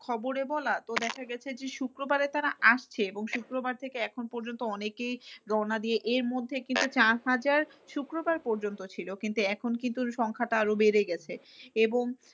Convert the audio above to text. খবরে বলা তো দেখা গেছে যে, শুক্রবারে তারা আসছে এবং শুক্রবার থেকে এখন পর্যন্ত অনেকেই রওনা দিয়ে এই মুহূর্তে কিন্তু চার হাজার শুক্রবার পর্যন্ত ছিল কিন্তু এখন কিন্তু সংখ্যাটা আরো বেড়ে গেছে। এবং